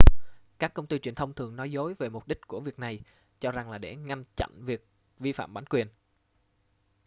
các công ty truyền thông thường nói dối về mục đích của việc này cho rằng là để ngăn chăn việc vi phạm bản quyền